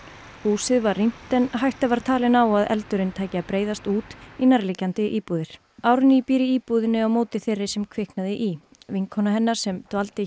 húsið var rýmt en hætta var talin á að eldurinn tæki að breiðast út í nærliggjandi íbúðir Árný býr í íbúðinni á móti þeirri sem kviknaði í vinkona hennar sem dvaldi